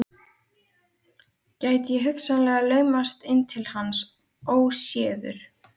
Gæti ég hugsanlega laumast inn til hans óséður?